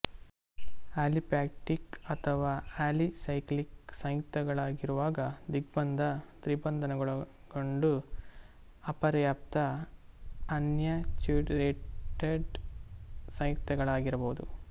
aliphatic ಅಥವಾ alicyclic ಸಂಯುಕ್ತಗಳಾಗಿರುವಾಗ ದ್ವಿಬಂಧ ತ್ರಿಬಂಧಗಳನ್ನೊಡಗೊಂಡು ಅಪರ್ಯಾಪ್ತ ಅನ್ಸ್ಯಾಚುರೇಟಡ್ ಸಂಯುಕ್ತಗಳಾಗಿರಬಹುದು